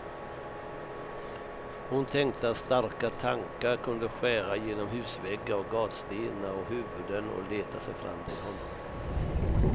Hon tänkte att starka tankar kunde skära genom husväggar och gatstenar och huvuden, och leta sig fram till honom.